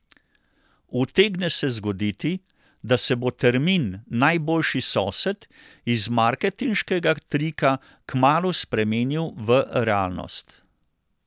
Utegne se zgoditi, da se bo termin najboljši sosed iz marketinškega trika kmalu spremenil v realnost.